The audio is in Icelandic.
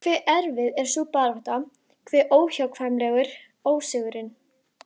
Hve erfið er sú barátta, hve óhjákvæmilegur ósigurinn.